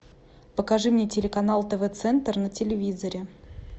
покажи мне телеканал тв центр на телевизоре